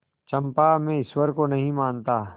चंपा मैं ईश्वर को नहीं मानता